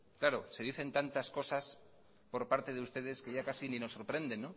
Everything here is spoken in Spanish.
claro se dicen tantas cosas por parte de ustedes que ya casi ni nos sorprenden